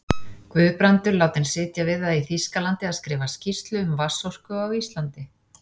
Guðbrandur látinn sitja við það í Þýskalandi að skrifa skýrslu um vatnsorku á Íslandi.